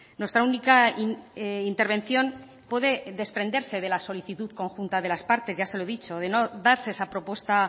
nuestra única intervención puede desprenderse de la solicitud conjunta de las partes ya se lo he dicho de no darse esa propuesta